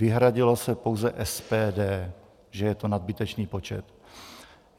Vyhradilo se pouze SPD, že je to nadbytečný počet.